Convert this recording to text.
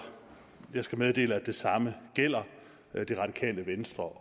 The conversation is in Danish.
jeg skal meddele at det samme gælder radikale venstre